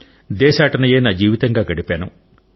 దేశాటనయే నా జీవితంగా గడిపాను